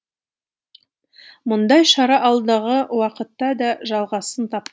мұндай шара алдағы уақытта да жалғасын тап